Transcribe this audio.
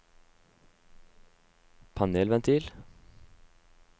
panelventil